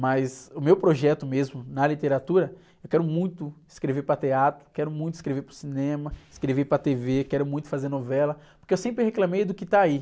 Mas o meu projeto mesmo, na literatura, eu quero muito escrever para teatro, quero muito escrever para o cinema, escrever para a tê-vê, quero muito fazer novela, porque eu sempre reclamei do que está aí.